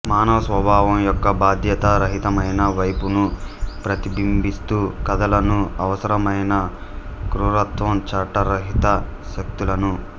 మానవ స్వభావం యొక్క బాధ్యతా రహితమైన వైపును ప్రతిబింబిస్తూ కథలను అవసరమైన క్రూరత్వం చట్టరహిత శక్తులను